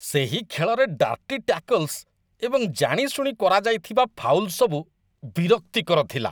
ସେହି ଖେଳରେ dirty tackles ଏବଂ ଜାଣିଶୁଣି କରାଯାଇଥିବା ଫାଉଲ୍ ସବୁ ବିରକ୍ତିକର ଥିଲା।